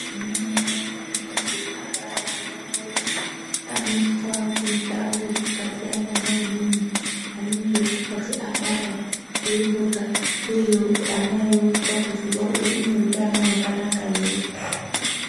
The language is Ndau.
Ana mai anenge abara ana awo anoiswa kundau dzakasiyana nevamweni anenge asati abara eimbo garira iyoyo ana eionekwa kuzi ane utano hwakanaka here